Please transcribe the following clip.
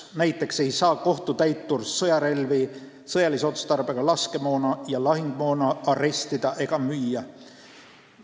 Näiteks ei saa kohtutäitur sõjarelvi, sõjalise otstarbega laskemoona ega lahingumoona arestida ega müüa.